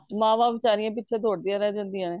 ,ਮਾਵਾਂ ਬੇਚਾਰੀਆਂ ਪਿਛੇ ਦੋੜਦੀਆਂ ਰਹਿ ਜਾਂਦੀਆਂ ਨੇ